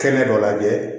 Kɛnɛ dɔ lajɛ